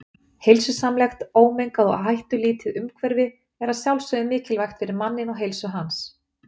Heilsusamlegt, ómengað og hættulítið umhverfi er að sjálfsögðu mikilvægt fyrir manninn og heilsu hans.